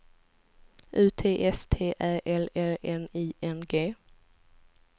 U T S T Ä L L N I N G